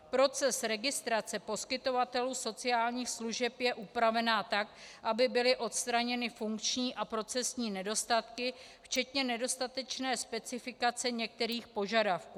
Proces registrace poskytovatelů sociálních služeb je upraven tak, aby byly odstraněny funkční a procesní nedostatky včetně nedostatečné specifikace některých požadavků.